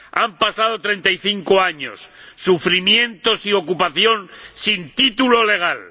Han pasado 35 años, sufrimientos y ocupación sin título legal.